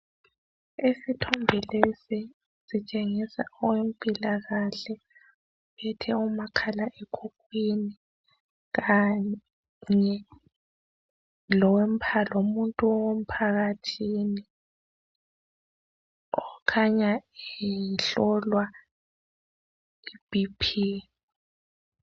Isithombe lesi sitshengisa owempilakahle ophethe umakhala ekhukhwini kanye lomuntu womphakathini okhanya ehlolwa i B.P.